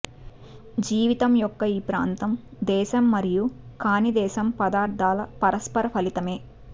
జీవితం యొక్క ఈ ప్రాంతం దేశం మరియు కాని దేశం పదార్థాల పరస్పర ఫలితమే